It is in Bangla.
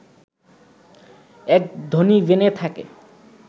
এক ধনী বেনে থাকে